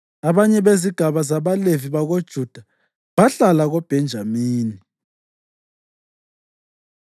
Abanye bezigaba zabaLevi bakoJuda bahlala koBhenjamini.